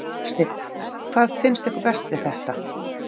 Hafsteinn: Hvað finnst ykkur best við þetta?